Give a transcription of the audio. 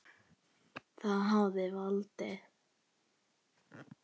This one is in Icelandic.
Þið hafið valdið.